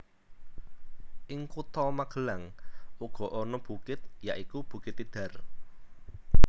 Ing kutha Magelang uga ana bukit ya iku bukit Tidar